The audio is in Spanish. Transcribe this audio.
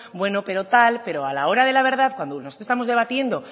bueno pero tal pero a la hora de la verdad cuando estamos debatiendo